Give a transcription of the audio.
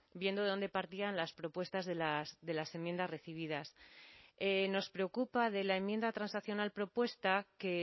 viendo de dónde partían las propuestas de las enmiendas recibidas nos preocupa de la enmienda transaccional propuesta que